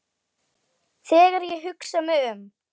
Þegar ég hugsa mig um